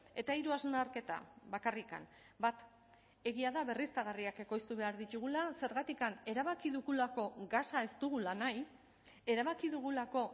eta hiru hausnarketa bakarrik bat egia da berriztagarriak ekoiztu behar ditugula zergatik erabaki dugulako gasa ez dugula nahi erabaki dugulako